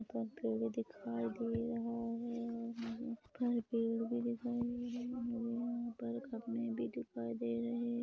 दिखाई दे रहा है और मुझे यहाँ पर पेड़ भी दिखाई दे रहे हैं मुझे यहाँ पर कपडे भी दिखाई दे--